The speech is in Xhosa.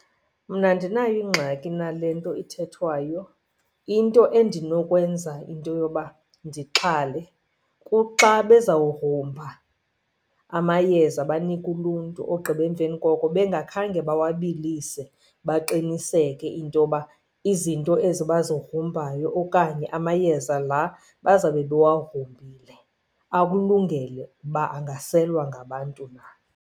Mna andinayo ingxaki nale nto ithethwayo. Into endinokwenza into yoba ndixhale kuxa bezawugrumba amayeza banike uluntu ogqiba emveni koko bengakhange bawabilise baqiniseke into yoba izinto ezi bazigrumbayo okanye amayeza la bazawube bewagrumbile akulungele uba angaselwa ngabantu na.